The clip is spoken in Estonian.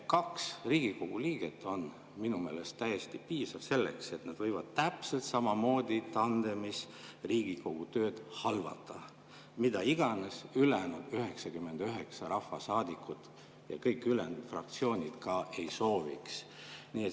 Kaks Riigikogu liiget on minu meelest täiesti piisav selleks, et nad saaks täpselt samamoodi tandemis Riigikogu töö halvata, mida iganes ülejäänud 99 rahvasaadikut ja kõik ülejäänud fraktsioonid ka ei sooviks.